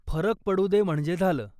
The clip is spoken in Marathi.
फरक पडूदे म्हणजे झालं.